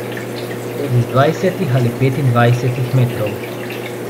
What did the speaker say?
Tudi z dvajsetih ali petindvajsetih metrov.